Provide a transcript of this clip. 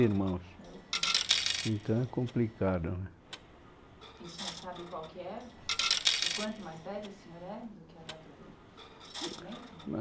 Irmãos, então é complicado né? E o senhor sabe qual que é? O quanto mais velho o senhor é do que a data do documento?